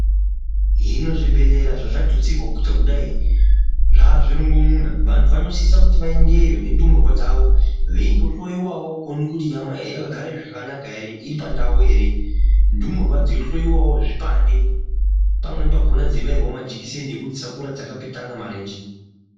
Hino zvibhedhlera zvazvatutsirwa kuita kudai zvava zvirongo muna vantu vanosisa kuti vaendeyo ne ndumurwa dzavo veyindo hloyiwawo kuti nyama dzakagara zvakanaka iri pakanaka here ndumurwa dzechinohloyiwa wo chipande panweni pacho dzei ndobayirwa wo majekiseni kuti dzisakura dzakapetana marenje.